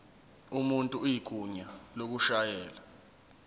umuntu igunya lokushayela